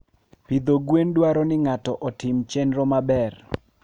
Pidho gwen dwaro ni ng'ato otim chenro maber.